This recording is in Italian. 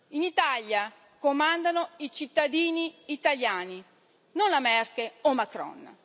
In Italia comandano i cittadini italiani, non la Merkel o Macron.